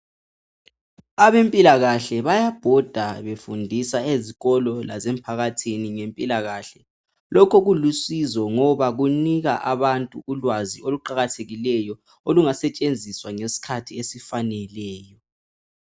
Abempilakahle bayabhoda befundisa ezikolo lasemphakathini ngempilakahle. Lokho kulusizo ngoba kunika abantu ulwazi oluqakathekileyo olungasetshenziswa ngesikhathi esifaneleyo.